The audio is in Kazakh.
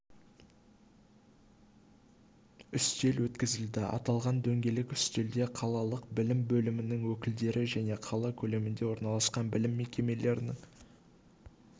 үстел өткізілді аталған дөңгелек үстелде қалалық білім бөлімінің өкілдері және қала көлемінде орналасқан білім мекемелерінің